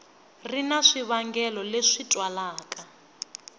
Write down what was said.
ri na swivangelo leswi twalaka